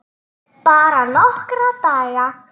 Bara nokkra daga.